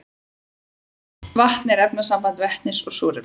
vatn er efnasamband vetnis og súrefnis